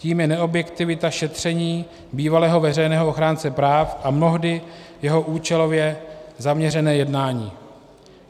Tím je neobjektivita šetření bývalého veřejného ochránce práv a mnohdy jeho účelově zaměřené jednání.